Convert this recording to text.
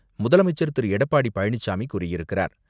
முதலமைச்சர் திரு. எடப்பாடி பழனிசாமி கூறியிருக்கிறார்.